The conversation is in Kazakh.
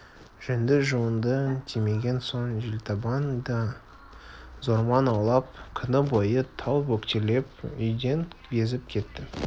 жөнді жуынды тимеген соң желтабан да зорман аулап күні бойы тау бөктерлеп үйден безіп кетті